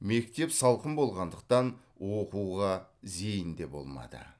мектеп салқын болғандықтан оқуға зейін де болмады